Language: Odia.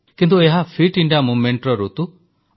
କିନ୍ତୁ ଏହା ଫିଟ ଇଣ୍ଡିଆ ଅଭିଯାନର ଋତୁ